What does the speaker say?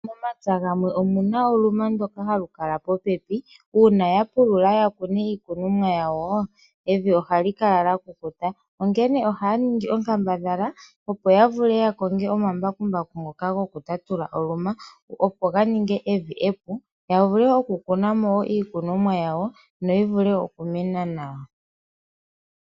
Momapya gamwe omuna oluma ndyoka hali kala po pepi una ya pulula ya kune iikunomwa yawo evi ohali kala lya kukuta. Onkene ohaya ningi onkambadhala opo ya vule ya konge omambakumbaku ngoka goku tatula oluma opo ga ninge evi epu ya vule oku kunamo iikunwamo yawo no yi vule oku mena nawa.